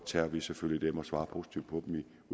tager vi selvfølgelig dem og svarer positivt på